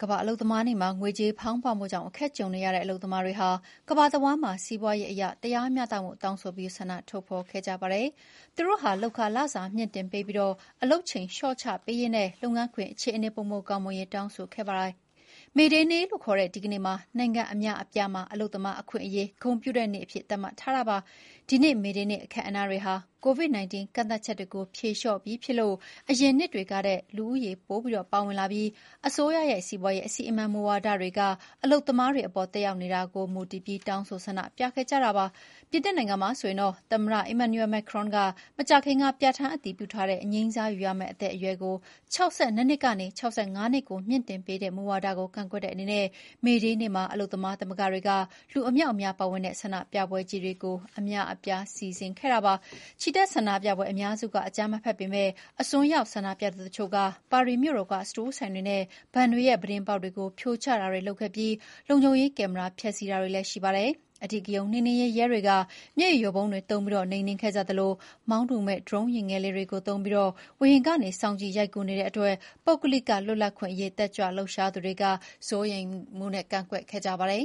ကမ္ဘာ့အလုပ်သမားနေ့မှာ ငွေကြေးဖောင်းပွမှုကြောင့် အခက်ကြုံနေရတဲ့အလုပ်သမားတွေဟာ ကမ္ဘာတဝန်းမှာ စီးပွားရေးအရတရားမျှတမှုကိုတောင်းဆိုပြီး ဆန္ဒဖော်ထုတ်ခဲ့ကြပါတယ်။ သူတို့ဟာ လုပ်ခလစာမြှင့်တင်ပေးပြီး အလုပ်ချိန်လျှော့ချပေးရေးနဲ့ လုပ်ငန်းခွင်အခြေအနေ ပိုမိုကောင်းမွန်ရေးတို့ကို တောင်းဆိုခဲ့ကြပါတယ်။ မေဒေးနေ့လို့ခေါ်တဲ့ဒီနေ့ကို နိုင်ငံအများအပြားမှာ အလုပ်သမားအခွင့်အရေး ဂုဏ်ပြုတဲ့နေ့အဖြစ် သတ်မှတ်ထားတာပါ။ ဒီနှစ် မေဒေးနေ့အခမ်းအနားတွေဟာ COVID-19 ကန့်သတ်ချက်တွေဖြေလျှော့ပြီးဖြစ်လို့ အရင်နှစ်တွေကထက် လူဦးရေ ပို ပါဝင်လာကြပြီး အစိုးရရဲ့ စီးပွားရေးအစီအမံမူဝါဒတွေက အလုပ်သမားတွေအပေါ် သက်ရောက်နေတာတွေကို ဦးတည်ပြီး တောင်းဆိုဆန္ဒပြတာခဲ့ကြပါတယ်။ ပြင်သစ်နိုင်ငံမှာဆိုရင် သမ္မတအီမန်နျူရယ် မက်ကရွန် (Emmanuel Macron) က မကြာခင်က ပြဌာန်းအတည်ပြုထားတဲ့ အငြိမ်းစားယူရမယ့်အသက်အရွယ်ကို ၆၂ နှစ်ကနေ ၆၅ နှစ်ကို မြှင့်တင်ပေးတဲ့မူဝါဒကို ကန့်ကွက်တွေအနေနဲ့ မေဒေးနေ့မှာ အလုပ်သမားသမဂ္ဂတွေက လူအမြောက်အမြားပါဝင်တဲ့ ဆန္ဒပြပွဲကြီးတွေကို အများအပြား စီစဥ်ခဲ့ကြပါတယ်။ ချီတက်ဆန္ဒပြပွဲအများစုက အကြမ်းမဖက်ကြပေမယ့် အစွန်းရောက် ဆန္ဒပြသူတချို့က ပါရီမြို့တော်က စတိုးဆိုင်တွေနဲ့ ဘဏ်တွေရဲ့ ပြတင်းပေါက်တွေကို ဖြိုချတာတွေလုပ်ခဲ့သလို လုံခြုံရေးကင်မရာ ဖျက်ဆီးခံရတာလည်း ရှိပါတယ်။ အဓိကရုဏ်းနှိမ်နင်းရေးရဲတွေက မျက်ရည်ယိုဗုံးတွေသုံးပြီး နှိမ်နင်းခဲ့ကြသလို မောင်းသူမဲ့ ဒရုန်းယာဥ်ငယ်လေးတွေကို သုံးပြီး ဝေဟင်ကနေ စောင့်ကြည့်ရိုက်ကူးနေလို့ ပုဂ္ဂလိကလွတ်လပ်ခွင့်အရေး တက်ကြွလှုပ်ရှားသူတွေက စိုးရိမ် ကန့်ကွက်ခဲ့ကြပါတယ်